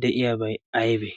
de7iyaabai aibee